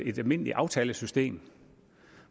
et almindeligt aftalesystem